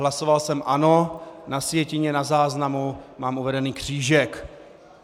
Hlasoval jsem ano, na sjetině, na záznamu mám uveden křížek.